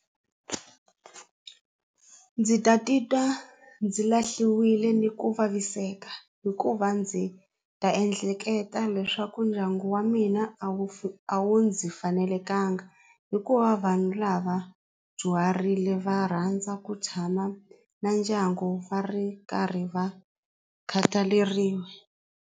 Ndzi ta titwa ndzi lahliwile ni ku vaviseka hikuva ndzi ta ehleketa leswaku ndyangu wa mina a wu a wu ndzi fanelekangi hikuva vanhu lava dyuharile va rhandza ku tshama na ndyangu va ri karhi va khataleriwa.